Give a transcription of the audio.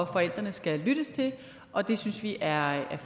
forældrene skal lyttes til og det synes vi er